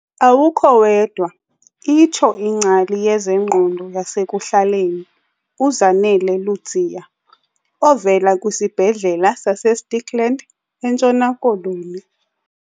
"Awukho wedwa," itsho ingcali yezengqondo yasekuhlaleni uZanele Ludziya ovela kwiSibhedlele saseStikland eNtshona Koloni.